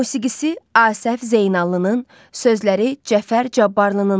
Musiqisi Asəf Zeynallının, sözləri Cəfər Cabbarlınındır.